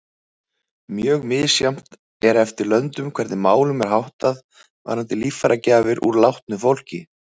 Mjög misjafnt er eftir löndum hvernig málum er háttað varðandi líffæragjafir úr látnu fólki.